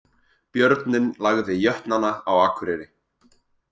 Björninn lagði Jötnana á Akureyri